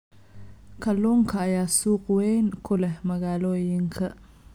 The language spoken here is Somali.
Kalluunka ayaa suuq weyn ku leh magaalooyinka.